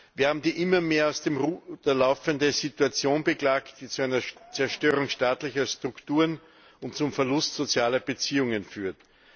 Wir haben die immer mehr aus dem Ruder laufende Situation beklagt, die zu einer Zerstörung staatlicher Strukturen und zum Verlust sozialer Beziehungen führt.